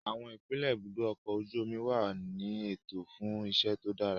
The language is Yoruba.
Àwọn ipele ibùdó ọkọ̀ ojú omi wà ní ètò fún iṣẹ́ tó dára